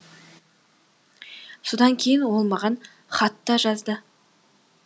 содан кейін ол маған хат та жазды